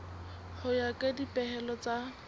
ho ya ka dipehelo tsa